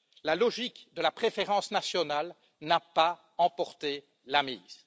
La logique de la préférence nationale n'a pas emporté la mise.